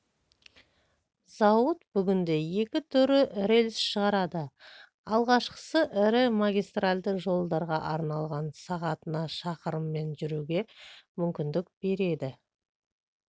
зауыт бүгінде екі түрлі рельс шығарады алғашқысы ірі магистралды жолдарға арналған сағатына шақырыммен жүруге мүмкіндік береді